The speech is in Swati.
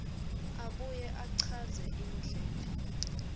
abuye achaze indlela